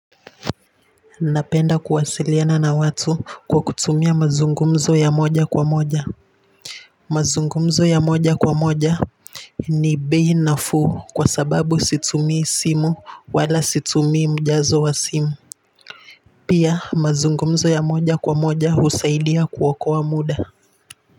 Napenda kuwasiliana na watu kwa kutumia mazungumzo ya moja kwa moja mazungumzo ya moja kwa moja ni bei nafuu kwa sababu situmii simu wala situmii mjazo wa simu pia mazungumzo ya moja kwa moja husaidia kuokoa muda.